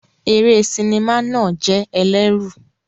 Eré sinimá náà jẹ́ ẹlẹ́rù.